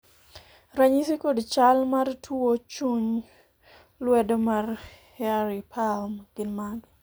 ranyisi kod chal mar tuo chuny lwedo mar hairy palm gin mage?